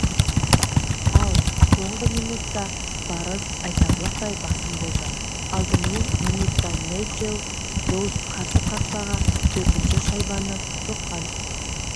ал соңғы минутта барыс айтарлықтай басым болды алдымен минутта найджел доус қарсы қақпаға төртінші шайбаны соққан